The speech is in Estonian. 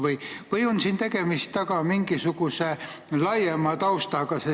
Kas siin on tegemist mingisuguse laiema taustaga?